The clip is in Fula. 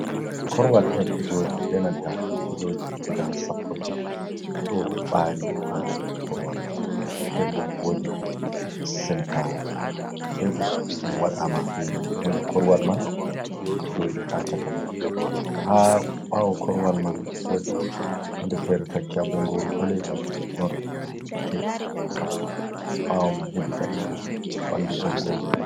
Korowal ɗo joodi bee nanta filooji guda sappo e ɗiɗi ɗo bari ha dow korowal man nden boo woodi center tebur ɗum waɗaama bee huunde, korowal man ɗo joodi haa caka man haa ɓaawo korowal man woodi huunde feere taki ha bonngooru paleju non yite do haa bawo man hedi gaɗa to ha ɓandu bonngooru